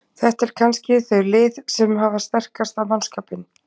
Þetta eru kannski þau lið sem hafa sterkasta mannskapinn.